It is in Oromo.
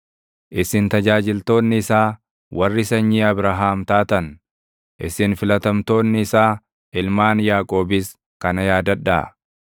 isin tajaajiltoonni isaa, warri sanyii Abrahaam taatan, isin filatamtoonni isaa, ilmaan Yaaqoobis kana yaadadhaa.